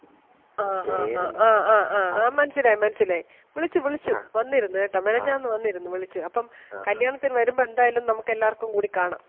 അ, അ, അ, ആ, ആ, ആ, മനസ്സിലായി, മനസ്സിലായി വിളിച്ചു വിളിച്ചു വന്നിരുന്ന് കേട്ടാ മെനെഞ്ഞാന്ന് വന്നിരുന്നു വിളിച്ചു അപ്പം കല്യാണത്തിന് വരുമ്പം എന്തായാലും നമുക്ക് എല്ലാർക്കും കൂടി കാണാം.